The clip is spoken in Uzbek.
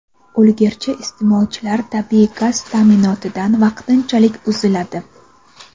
ulgurji iste’molchilar tabiiy gaz ta’minotidan vaqtinchalik uziladi.